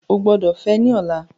O gbọdọ fẹ ni ọla!